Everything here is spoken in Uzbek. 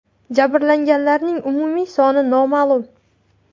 Jabrlanganlarning umumiy soni noma’lum.